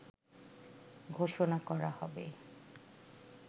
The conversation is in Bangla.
ঘোষণা করা হবে